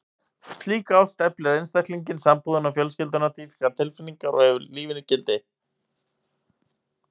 Slík ást eflir einstaklinginn, sambúðina og fjölskylduna, dýpkar tilfinningar og gefur lífinu gildi.